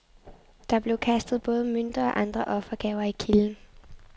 Der blev kastet både mønter og andre offergaver i kilden.